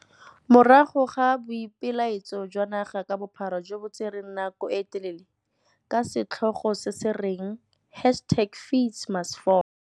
Morago ga boipelaetso jwa naga ka bophara jo bo tsereng nako e telele, ka setlhogo se se reng hashtag FeesMustFall.